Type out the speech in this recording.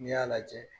N'i y'a lajɛ